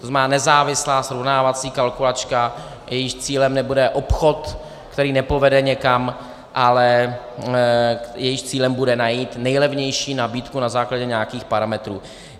To znamená, nezávislá srovnávací kalkulačka, jejímž cílem nebude obchod, který nepovede někam, ale jejímž cílem bude najít nejlevnější nabídku na základě nějakých parametrů.